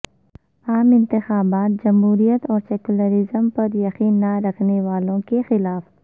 عام انتخابات جمہوریت اور سیکولرزم پر یقین نہ رکھنے والوں کے خلاف